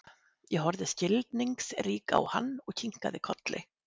Ég horfði skilningsrík á hann og kinkaði kolli.